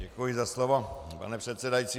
Děkuji za slovo, pane předsedající.